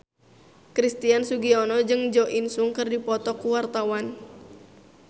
Christian Sugiono jeung Jo In Sung keur dipoto ku wartawan